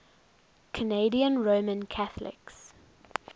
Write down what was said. canadian roman catholics